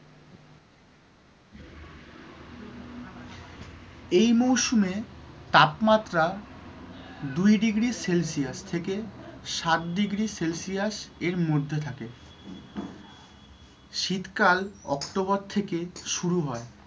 এই মৌসুমে তাপমাত্রা দুই degree celsius থেকে সাত degree celsius এর মধ্যে থাকে শীতকাল october থেকে শুরু হয়।